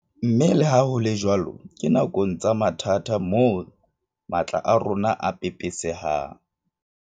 Mme leha ho le jwalo ke nakong tsa mathata moo matla a rona a pepesehang.